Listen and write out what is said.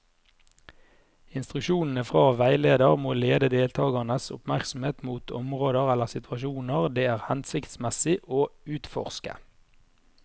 Instruksjonene fra veileder må lede deltakernes oppmerksomhet mot områder eller situasjoner det er hensiktsmessig å utforske.